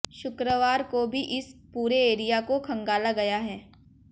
शुक्रवार को भी इस पूरे एरिया को खंगाला गया है